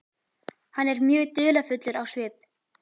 Hann er mjög dularfullur á svip.